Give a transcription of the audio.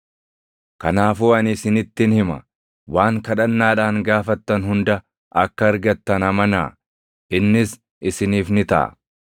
Kanaafuu ani isinittin hima; waan kadhannaadhaan gaafattan hunda akka argattan amanaa; innis isiniif ni taʼa.